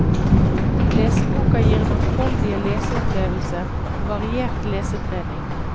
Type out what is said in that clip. Leseboka gir mangfoldige leseopplevelser og variert lesetrening.